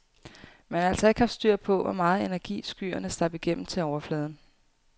Man har altså ikke haft styr på, hvor meget energi skyerne slap igennem til overfladen.